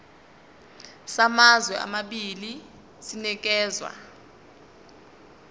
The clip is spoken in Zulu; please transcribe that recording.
samazwe amabili sinikezwa